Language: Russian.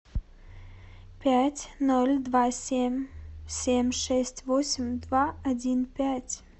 пять ноль два семь семь шесть восемь два один пять